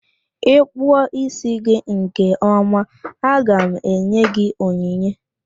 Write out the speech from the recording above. Ị kpụọ ísí gị nke ọma, aga m enye gị onyinye.